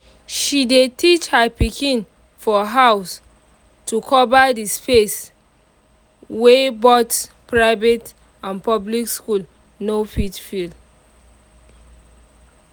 she dey teach her pikin for house to cover his face wey both private and public school no fit fill